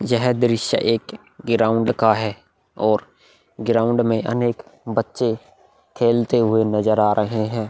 यह दृश्य एक ग्राउंड का है और ग्राउंड में अनेक बच्चे खेलते हुए नजर आ रहे है ।